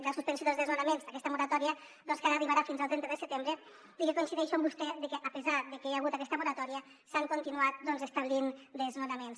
la suspensió dels desnonaments d’aquesta moratòria que ara arribarà fins al trenta de setembre i que coincideixo amb vostè que a pesar de que hi ha hagut aquesta moratòria s’han continuat establint desnonaments